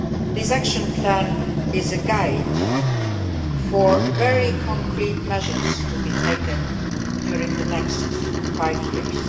This action plan is a guide for very concrete measures to be taken during the next five years.